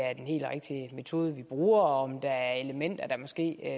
er den helt rigtige metode vi bruger og om der er elementer der måske